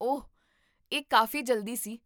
ਓਹ, ਇਹ ਕਾਫ਼ੀ ਜਲਦੀ ਸੀ!